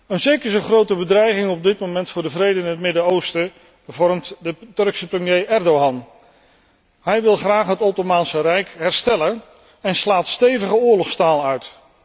Een zeker even grote bedreiging op dit moment voor de vrede in het Midden Oosten vormt de Turkse premier Erdogan. Hij wil graag het Ottomaanse Rijk herstellen en slaat stevige oorlogstaal uit.